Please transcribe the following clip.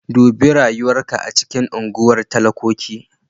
Dubi rayuwar ka a cikin unguwar talakoki.